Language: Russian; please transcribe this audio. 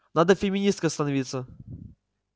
надо феминисткой становиться